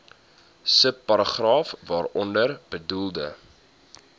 subparagraaf waaronder bedoelde